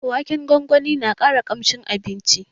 Waken gwangwani na ƙara armashin abincin